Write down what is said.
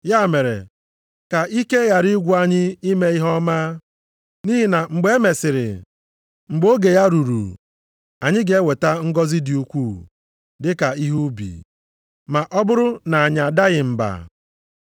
Ya mere, ka ike ghara ịgwụ anyị ime ihe ọma. Nʼihi na mgbe e mesiri, mgbe oge ya ruru, anyị ga-eweta ngọzị dị ukwuu dị ka ihe ubi, ma ọ bụrụ na anyị adaghị mba.